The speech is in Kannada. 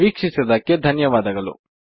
ವೀಕ್ಷಿಸಿದಕ್ಕೆ ಧನ್ಯವಾದಗಳು